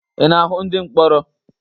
Ị na-ahụ ndị mkpọrọ?